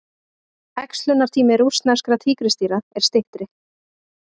Æxlunartími rússneskra tígrisdýra er styttri.